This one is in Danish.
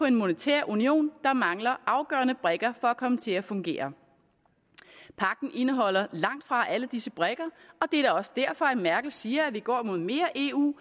en monetær union der mangler afgørende brikker for at komme til at fungere pagten indeholder langt fra alle disse brikker og det er da også derfor at merkel siger at vi går mod mere eu